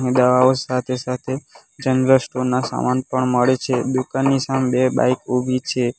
દવાઓ સાથે સાથે જનરલ સ્ટોર ના સામાન પણ મળે છે દુકાનની સામે બે બાઈક ઊભી છે.